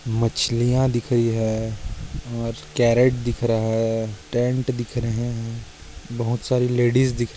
मछलिया दिख रही है और कॅरेट दिख रहा है। टेन्ट दिख रहे है बहुत साडी लेडीज दिख र--